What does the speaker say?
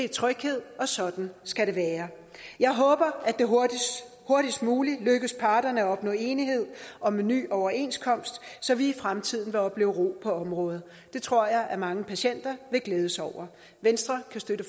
tryghed og sådan skal det være jeg håber at det hurtigst muligt lykkes parterne at opnå enighed om en ny overenskomst så vi i fremtiden vil opleve ro på området det tror jeg at mange patienter vil glæde sig over venstre kan støtte